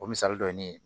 O misali dɔ ye ne ye